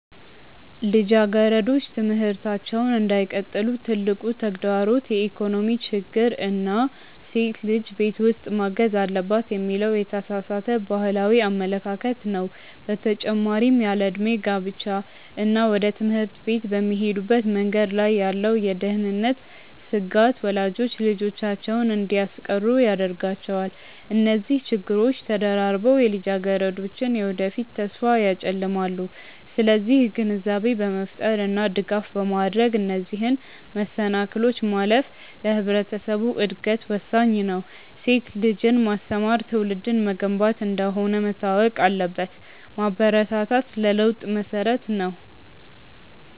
ልጃገረዶች ትምህርታቸውን እንዳይቀጥሉ ትልቁ ተግዳሮት የኢኮኖሚ ችግር እና ሴት ልጅ ቤት ውስጥ ማገዝ አለባት የሚለው የተሳሳተ ባህላዊ አመለካከት ነው። በተጨማሪም ያለዕድሜ ጋብቻ እና ወደ ትምህርት ቤት በሚሄዱበት መንገድ ላይ ያለው የደህንነት ስጋት ወላጆች ልጆቻቸውን እንዲያስቀሩ ያደርጋቸዋል። እነዚህ ችግሮች ተደራርበው የልጃገረዶችን የወደፊት ተስፋ ያጨልማሉ። ስለዚህ ግንዛቤ በመፍጠር እና ድጋፍ በማድረግ እነዚህን መሰናክሎች ማለፍ ለማህበረሰቡ እድገት ወሳኝ ነው። ሴት ልጅን ማስተማር ትውልድን መገንባት እንደሆነ መታወቅ አለበት። ማበረታታት ለለውጥ መሰረት ነው።